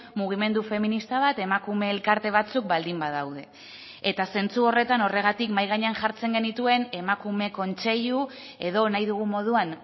mugimendu feminista bat emakume elkarte batzuk baldin badaude eta zentzu horretan horregatik mahai gainean jartzen genituen emakume kontseilu edo nahi dugun moduan